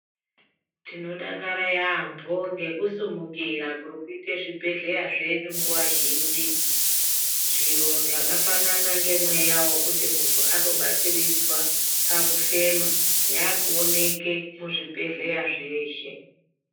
Tinodakara yaambo ngekusumukira kuri kuita zvibhedhleya zvedu nguva zhinji. Zviro zvakafanana nemweya vokuti muntu anobatsiridzwa pakufema yakuoneke muzvibhedhleya zveshe.